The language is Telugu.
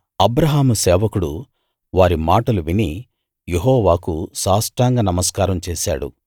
అబ్రాహాము సేవకుడు వారి మాటలు విని యెహోవాకు సాష్టాంగ నమస్కారం చేశాడు